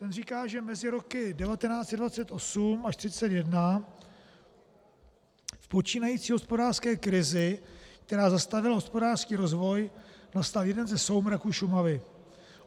Ten říká, že mezi roky 1928-1931 v počínající hospodářské krizi, která zastavila hospodářský rozvoj, nastal jeden ze soumraků Šumavy.